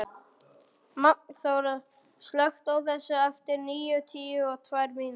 Magnþóra, slökktu á þessu eftir níutíu og tvær mínútur.